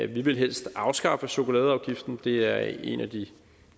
ville helst afskaffe chokoladeafgiften for det er en af de